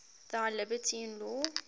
thy liberty in law